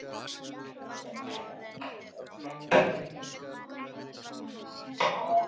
Morguninn eftir fór afi í sveitina með nýja traktorinn sinn.